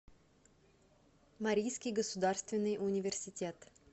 марийский государственный университет